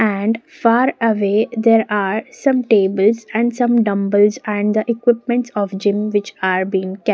and far away there are some tables and some dumbbells and the equipments of gym which are being kept.